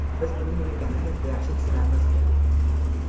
biz buning nima ekanini juda yaxshi tushunamiz.